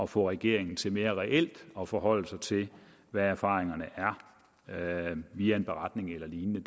få regeringen til mere reelt at forholde sig til hvad erfaringerne er via en beretning eller lignende